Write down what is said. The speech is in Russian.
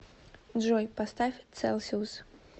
джой поставь целсиус